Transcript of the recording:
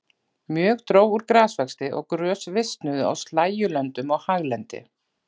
Mjög dró úr grasvexti og grös visnuðu á slægjulöndum og haglendi.